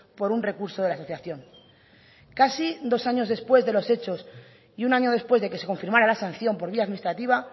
por un recurso de la asociación casi dos años después de los hechos y un año después de que se confirmara la sanción por vía administrativa